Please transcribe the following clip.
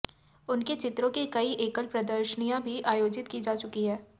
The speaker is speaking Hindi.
उनके चित्रों की कई एकल प्रदर्शनियां भी आयोजित की जा चुकी हैं